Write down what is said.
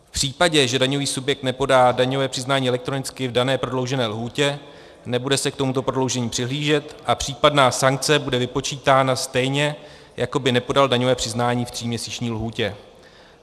V případě, že daňový subjekt nepodá daňové přiznání elektronicky v dané prodloužené lhůtě, nebude se k tomuto prodloužení přihlížet a případná sankce bude vypočítána stejně, jako by nepodal daňové přiznání v tříměsíční lhůtě.